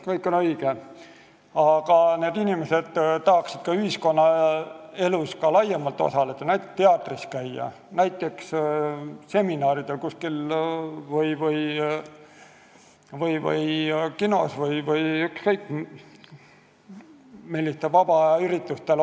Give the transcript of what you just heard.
Kõik on õige, aga need inimesed tahaksid ka ühiskonnaelus rohkem osaleda, näiteks teatris ja seminaridel, kinos ja muudel vaba aja üritustel käia.